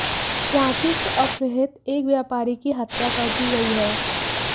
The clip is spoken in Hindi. रांची से अपहृत एक व्यापरी की हत्या कर दी गई है